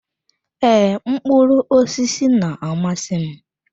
Ee, mkpụrụ osisi na-amasị m.